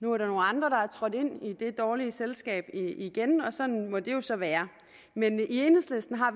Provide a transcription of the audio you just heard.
nu er der nogle andre der er trådt ind i det dårlige selskab igen og sådan må det jo så være men enhedslisten har